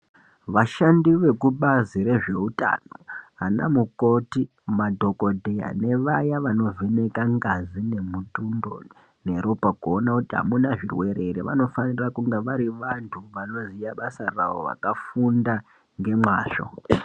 Vashandi vekubazi rezveutano, ana mukhoti, madhokodheya nevaya vanovheneka ngazi nemutundo, neropa kuona kuti amuna zvirwere ere, vanofanira kunga vari vanhu vanoziya basa ravo vakafunda ngemwazvo.